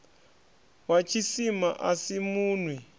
wa tshisima a si munwi